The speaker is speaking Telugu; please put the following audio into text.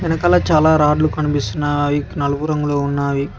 వెనకాల చాలా రాడ్లు కనిపిస్తున్నావి అవి నలుపు రంగులో ఉన్నావి.